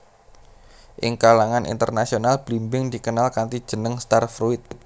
Ing kalangan internasional blimbing dikenal kanthi jeneng star fruit